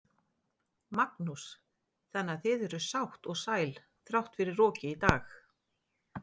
Magnús: Þannig að þið eruð sátt og sæl þrátt fyrir rokið í dag?